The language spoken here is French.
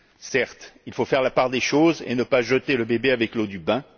Certes, il faut faire la part des choses et ne pas jeter le bébé avec l'eau du bain.